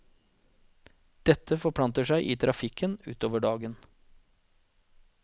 Dette forplanter seg i trafikken utover dagen.